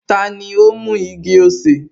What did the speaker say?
Tani ó mú igi-osè?